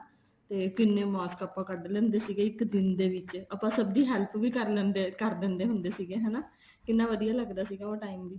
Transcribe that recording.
ਤੇ ਕਿੰਨੇ ਮਾਸਕ ਪਨ ਕੱਡ ਲੈਂਦੇ ਸੀਗੇ ਇੱਕ ਦਿਨ ਦੇ ਵਿੱਚ ਕੱਡ ਦਿੰਦੇ ਹੁੰਦੇ ਸੀਗੇ ਹਨਾ ਕਿੰਨਾ ਵਧੀਆ ਲੱਗਦਾ ਸੀਗਾ ਉਹ time ਵੀ